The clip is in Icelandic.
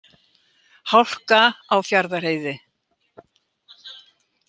Hálka á Fjarðarheiði